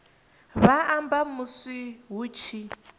vha amba musi hu tshi